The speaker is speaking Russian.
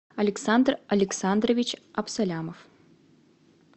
александр александрович абсолямов